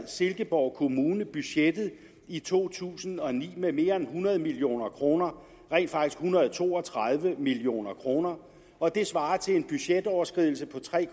at silkeborg kommune overskred budgettet i to tusind og ni med mere end hundrede million kroner rent faktisk en hundrede og to og tredive million kroner og det svarer til en budgetoverskridelse på tre